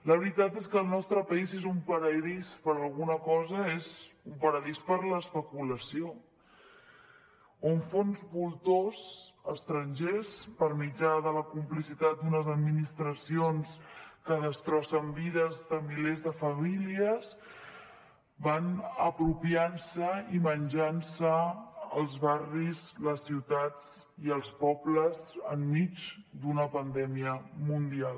la veritat és que el nostre país és un paradís per a alguna cosa és un paradís per a l’especulació on fons voltor estrangers per mitjà de la complicitat d’unes administracions que destrossen vides de milers de famílies van apropiant se i menjant se els barris les ciutats i els pobles enmig d’una pandèmia mundial